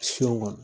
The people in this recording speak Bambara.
Sun kɔnɔ